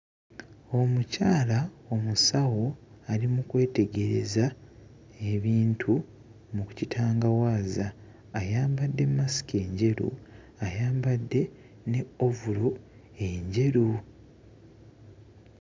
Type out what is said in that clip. Omukyala omusawo ali mu kwetegereza ebintu mu ku kitangawaaza ayambadde mmasiki enjeru ayambadde ne ovulo enjeru.